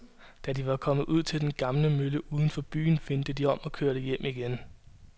Da de var kommet ud til den gamle mølle uden for byen, vendte de om og kørte hjem igen.